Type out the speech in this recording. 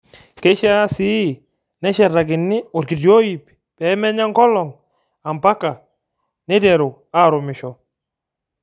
Keishaa sii neshetakini orkiti oip pee menya onkolong ampaka neiteru aarumisha.